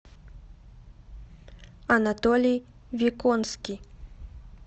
анатолий виконский